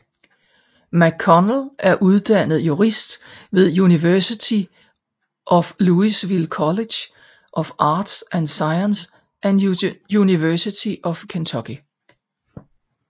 McConnell er uddannet jurist ved University of Louisville College of Arts and Sciences og University of Kentucky